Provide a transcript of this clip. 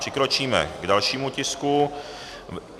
Přikročíme k dalšímu bodu.